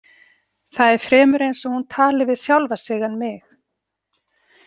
Það er fremur eins og hún tali við sjálfa sig en mig.